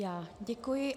Já děkuji.